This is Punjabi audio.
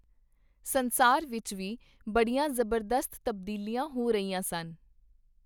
ਸੰਸਾਰ ਵਿਚ ਵੀ ਬੜੀਆਂ ਜ਼ਬਰਦਸਤ ਤਬਦੀਲੀਆਂ ਹੋ ਰਹੀਆਂ ਸਨ.